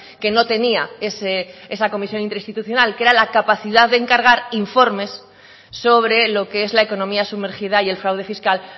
que no tenía esa comisión interinstitucional que era la capacidad de encargar informes sobre lo que es la economía sumergida y el fraude fiscal